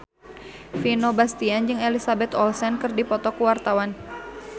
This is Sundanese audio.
Vino Bastian jeung Elizabeth Olsen keur dipoto ku wartawan